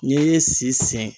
N'i ye si sen